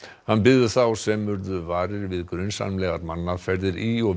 hann biður þá sem urðu varir við grunsamlegar mannaferðir í og